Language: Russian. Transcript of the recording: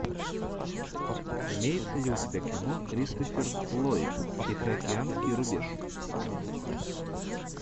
имеется ли у тебя кино кристофер ллойд тихоокеанский рубеж